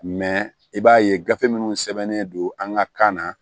i b'a ye gafe minnu sɛbɛnnen don an ka kan na